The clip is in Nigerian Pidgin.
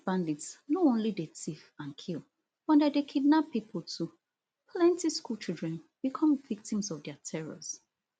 these bandits no only dey tiff and kill but dem dey kidnap pipo too plenty school children become victims of dia terrors